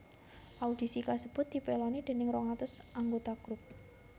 Audisi kasebut dipèloni déning rong atus anggota grup